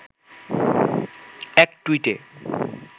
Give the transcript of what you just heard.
এক টুইটে